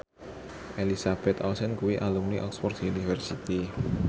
Elizabeth Olsen kuwi alumni Oxford university